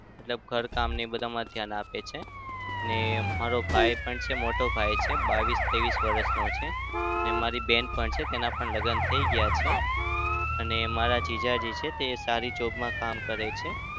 મતલબ ઘર કામને એ બધામાં ધ્યાન આપે છે. ને મારો ભાઈ પણ છે મોટો. ભાઈ પણ છે બાવીશ-તેવીશ વરસનો છે. ને મારી બેન પણ છે. તેના પણ લગ્ન થઇ ગયા છે. અને મારા જીજાજી છે તે સારી job માં કામ કરે છે.